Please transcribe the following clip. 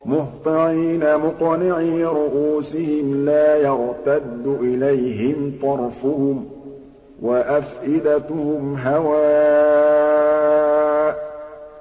مُهْطِعِينَ مُقْنِعِي رُءُوسِهِمْ لَا يَرْتَدُّ إِلَيْهِمْ طَرْفُهُمْ ۖ وَأَفْئِدَتُهُمْ هَوَاءٌ